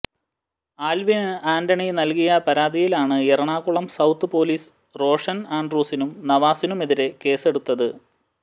Alvin Antony നല്കിയ പരാതിയിലാണ് Ernakulam south police Roshan ആന്ഡ്രൂസിനും നവാസിനുമെതിരെ കേസെടുത്തത്